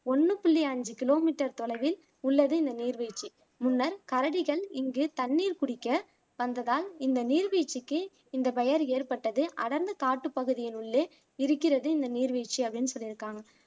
ஒண்ணு புள்ளி அஞ்சு கிலோமீட்டர் தொலைவில் உள்ளது இந்த நீர்வீழ்ச்சி முன்னர் கரடிகள் இங்கு தண்ணீர் குடிக்க வந்ததால் இந்த நீர்வீழ்ச்சிக்கு இந்த பெயர் ஏற்பட்டது அடர்ந்த காட்டு பகுதியின் உள்ளே இருக்கிறது இந்த நீர்வீழ்ச்சி அப்படின்னு சொல்லிருக்காங்க